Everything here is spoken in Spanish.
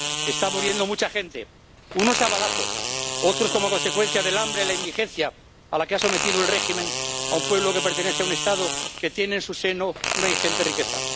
Está muriendo mucha gente, unos a balazos, otros como consecuencia del hambre y la indigencia a la que ha sometido el régimen a un pueblo que pertenece a un Estado que tiene en su seno una ingente riqueza.